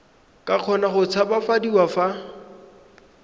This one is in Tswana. ka kgona go tshabafadiwa fa